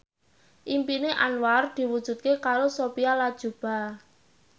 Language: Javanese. impine Anwar diwujudke karo Sophia Latjuba